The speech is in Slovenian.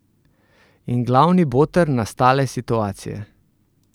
In glavni boter nastale situacije?